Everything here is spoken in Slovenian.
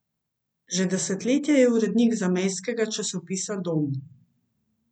Že desetletja je urednik zamejskega časopisa Dom.